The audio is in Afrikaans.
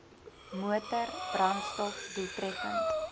motor brandstof doeltreffend